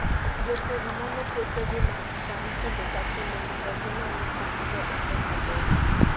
Jopur nono puothegi mag cham kinde ka kinde mondo gine ni chamgo dongo maber.